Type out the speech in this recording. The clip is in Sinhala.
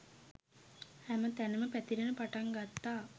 හැම තැනම පැතිරෙන්න පටන් ගත්ත